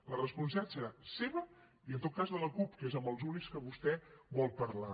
la responsabilitat serà seva i en tot cas de la cup que és amb els únics que vostè vol parlar